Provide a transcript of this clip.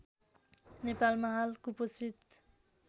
नेपालमा हाल कुपोषित